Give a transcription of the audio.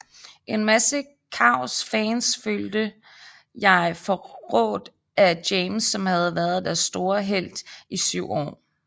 En masse Cavs fans følte jeg forrådt af James som havde været deres store helt i 7 år